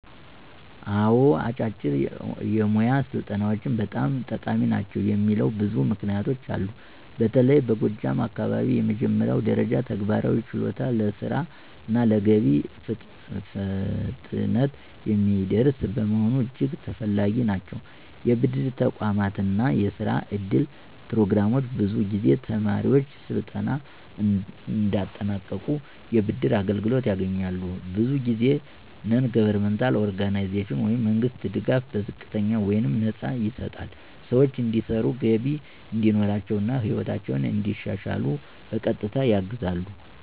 አዎን፣ አጫጭር የሞያ ስልጠናዎች በጣም ጠቃሚ ናቸው የሚለው ብዙ ምክንያቶች አሉ። በተለይ በጎጃም አካባቢዎች የመጀመሪያ ደረጃ ተግባራዊ ችሎታ ለስራ እና ለገቢ ፍጥነት የሚያደርስ በመሆኑ እጅግ ተፈላጊ ናቸው። የብድር ተቋማት እና የስራ እድል ፕሮግራሞች ብዙ ጊዜ ተማሪዎች ስልጠና እንዳጠናቀቁ የብድር አገልግሎት ያገኛሉ። ብዙ ጊዜ በNGO/መንግሥት ድጋፍ በዝቅተኛ ወይም ነፃ ይሰጣል ሰዎች እንዲሰሩ፣ ገቢ እንዲኖራቸው፣ እና ሕይወታቸውን እንዲሻሻሉ በቀጥታ ያግዛሉ።